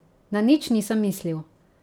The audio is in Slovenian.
Na nič nisem mislil.